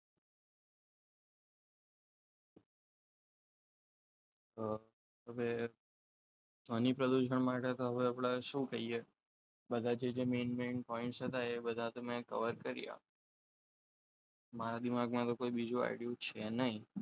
હવે ધ્વનિ પ્રદૂષણ માટે તો હવે આપણે શું કહીએ બધા જે જે main main point હતા તે બધા તો મેં કવર કરી આપ્યા મારા દિમાગમાં તો હવે બીજો idea છે નહીં.